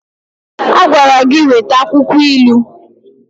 A gwara gi weta akwukwo ilu.